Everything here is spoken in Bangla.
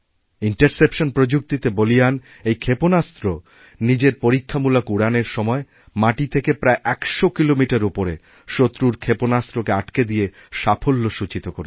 ইন্টারসেপশন প্রযুক্তিতে বলীয়ানএই ক্ষেপণাস্ত্র নিজের পরীক্ষামূলক উড়ানের সময় মাটি থেকে প্রায় একশ কিলোমিটার উপরেশত্রুর ক্ষেপণাস্ত্রকে আটকে দিয়ে সাফল্য সূচিত করেছে